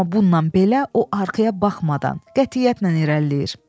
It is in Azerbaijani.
Amma bununla belə o arxaya baxmadan qətiyyətlə irəliləyir.